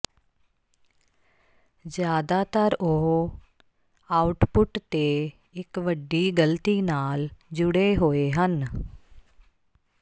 ਜਿਆਦਾਤਰ ਉਹ ਆਉਟਪੁੱਟ ਤੇ ਇੱਕ ਵੱਡੀ ਗਲਤੀ ਨਾਲ ਜੁੜੇ ਹੋਏ ਹਨ